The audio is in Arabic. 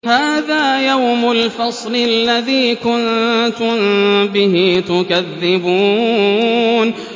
هَٰذَا يَوْمُ الْفَصْلِ الَّذِي كُنتُم بِهِ تُكَذِّبُونَ